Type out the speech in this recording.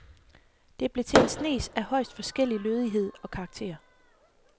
Det blev til en snes af højst forskellig lødighed og karakter.